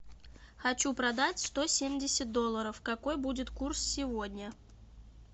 хочу продать сто семьдесят долларов какой будет курс сегодня